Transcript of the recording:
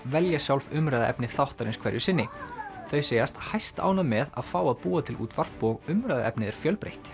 velja sjálf umræðuefni þáttarins hverju sinni þau segjast hæstánægð með að fá að búa til útvarp og umræðuefnið er fjölbreytt